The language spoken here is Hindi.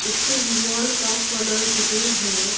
इसकी दीवाल का कलर ग्रीन है।